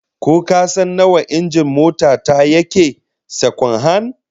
Ko kasan nawa injin mota ta yake, sakwan-han?